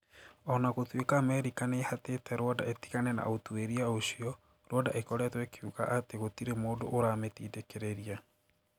o na gũtuĩka Amerika nĩ ĩhatĩte Rwanda ĩtigane na ũtuĩria ũcio, Rwanda ĩkoretwo ĩkiuga atĩ gũtirĩ mũndũ ũramĩtindĩkĩrĩria